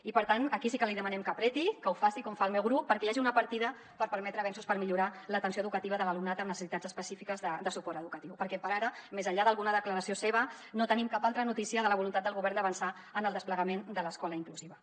i per tant aquí sí que li demanem que apreti que ho faci com fa el meu grup perquè hi hagi una partida per permetre avenços per millorar l’atenció educativa de l’alumnat amb necessitats específiques de suport educatiu perquè per ara més enllà d’alguna declaració seva no tenim cap altra notícia de la voluntat del govern d’avançar en el desplegament de l’escola inclusiva